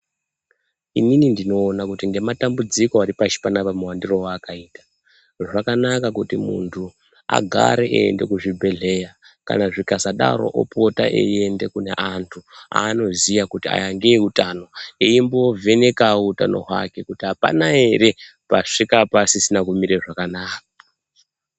Inini ndinoona nematambudziko Ari pashi panapa muwandiro wakaita zvagara kuti muntu agare eienda kuzvibhedhlera kana zvukasadaro opota eienda kuvantu Anoziva kuti aya ndeutano eimbivheneka utano hwake kuti apana ere pashi apasisina kumira zvakanaka.